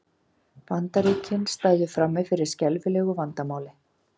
Bandaríkin stæðu frammi fyrir skelfilegu vandamáli